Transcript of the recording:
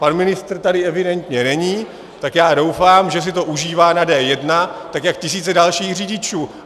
Pan ministr tady evidentně není, tak já doufám, že si to užívá na D1 jako tisíce dalších řidičů.